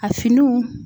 A finiw